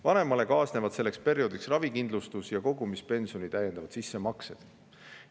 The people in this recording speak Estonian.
Vanemale selleks perioodiks ravikindlustus ja kogumispensioni täiendavad sissemaksed.